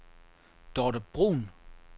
Dorthe Bruun